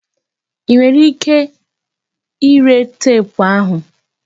I nwere ike ire teepu ahụ?